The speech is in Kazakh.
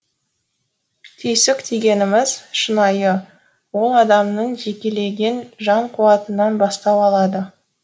түйсік дегеніміз шынайы ол адамның жекелеген жан қуатынан бастау алады